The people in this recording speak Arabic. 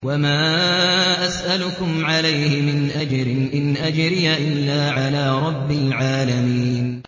وَمَا أَسْأَلُكُمْ عَلَيْهِ مِنْ أَجْرٍ ۖ إِنْ أَجْرِيَ إِلَّا عَلَىٰ رَبِّ الْعَالَمِينَ